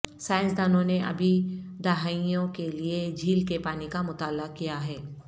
سائنسدانوں نے ابھی دہائیوں کے لئے جھیل کے پانی کا مطالعہ کیا ہے